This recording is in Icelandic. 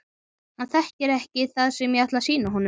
Hann þekkir ekki það sem ég ætla að sýna honum.